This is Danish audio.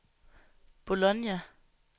Bologna